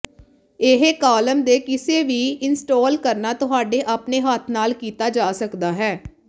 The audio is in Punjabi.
ਇਹ ਕਾਲਮ ਦੇ ਕਿਸੇ ਵੀ ਇੰਸਟਾਲ ਕਰਨਾ ਤੁਹਾਡੇ ਆਪਣੇ ਹੱਥ ਨਾਲ ਕੀਤਾ ਜਾ ਸਕਦਾ ਹੈ